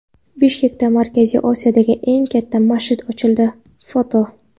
Bishkekda Markaziy Osiyodagi eng katta masjid ochildi (foto).